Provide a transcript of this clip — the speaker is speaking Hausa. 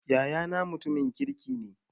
Yayana mutumin kirki ne